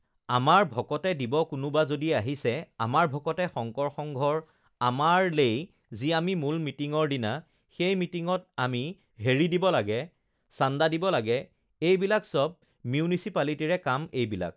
আমাৰ আমাৰ ভকতে দিব কোনোবা যদি আহিছে, আমাৰ ভকতে শংকৰ সংঘৰ আমাৰ লেই যি আমি মূল মিটিঙৰ দিনা সেই মিটিঙত আমি হেৰি দিব লাগে চাণ্ডা দিব লাগে এইবিলাক চব মিউনিচিপালিটিৰে কাম এইবিলাক